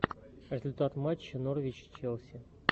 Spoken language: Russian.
результаты матча норвич челси